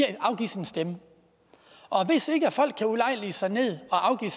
og afgive sin stemme og hvis ikke folk kan ulejlige sig ned og afgive